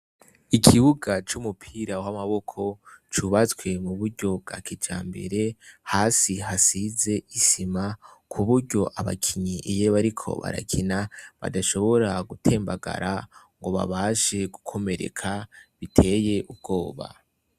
Ikibuga c' umupira w' amaboko cubatswe muburyo bwa kijambere hasi hasize isima kuburyo abakinyi iyo bariko barakina badashobora gutembagara ngo babashe gukomereka biteye ubwoba.